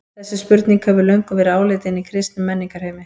Þessi spurning hefur löngum verið áleitin í kristnum menningarheimi.